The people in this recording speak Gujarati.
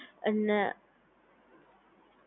અને